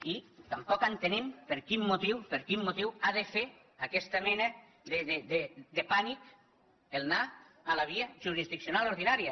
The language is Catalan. i tampoc entenem per quin motiu per quin motiu ha de fer aquesta mena de pànic anar a la via jurisdiccional ordinària